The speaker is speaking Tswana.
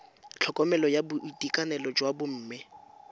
tlhokomelo ya boitekanelo jwa bomme